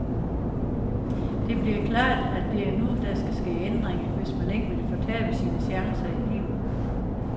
Det bliver klart, at det er nu, der skal ske ændringer, hvis man ikke vil fortabe sine chancer i livet.